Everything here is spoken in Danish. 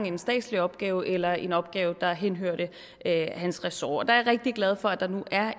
en statslig opgave eller eller en opgave der henhørete til hans ressort der er jeg rigtig glad for at der nu er